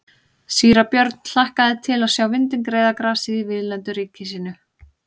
Síra Björn hlakkaði til að sjá vindinn greiða grasið í víðlendu ríki sínu.